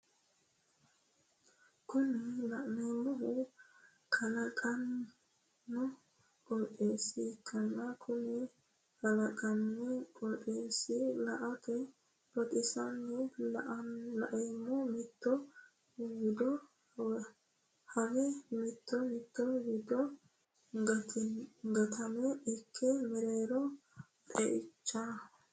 Kuni la'neemohu kalaqonna qoxeessa ikkanna Kuni kalaqinna qoxeessi la"ate baxisanno la'neemo mitto wido haawee mitto mitto wido gottiima ikke mereero xe"ichaamoho